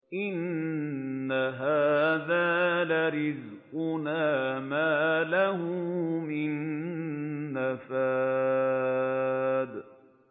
إِنَّ هَٰذَا لَرِزْقُنَا مَا لَهُ مِن نَّفَادٍ